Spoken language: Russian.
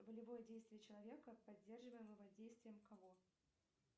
волевое действие человека поддерживаемого действием кого